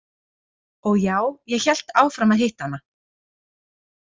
Og já, ég hélt áfram að hitta hana.